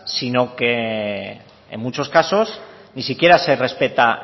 sino que en muchos casos ni siquiera se respeta